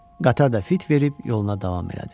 Qatar da fit verib yoluna davam elədi.